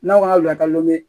N'aw ka lakalo ye